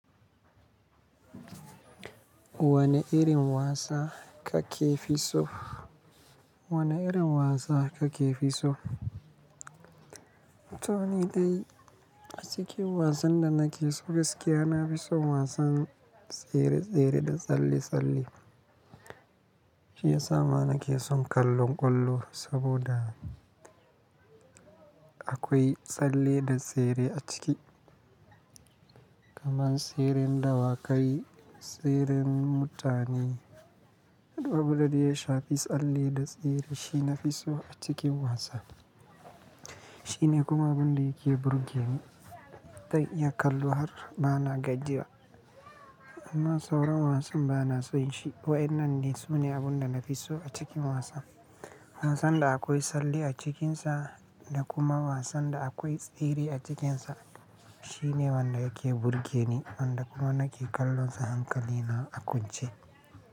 Wane irin wasa kake fi so? Wane irin wasa kake fi so? To ni dai a cikin wasan da nake so gaskiya, na fi son wasan tsere-tsere da tsalle-tsalle. Shi ya sa ma nake son kallon ƙwallo saboda akwai tsalle da tsere a ciki. Kaman tseren dawakai, tseren mutane. Abun da dai ya shafi tsalle da tsere shine na fi so a cikin wasa. Shi ne kuma abin da yake burge ni zan iya kallo har bana gajiya. Amma sauran wasan bana son shi. Wayan nan ne sune abun da na fi so a cikin wasa. Wasan da akwai tsalle a cikinsa da kuma wasan da akwai tsere a cikinsa. Shi ne wanda yake burge ni, wanda kuma nake kallo sa hankali na a kwance.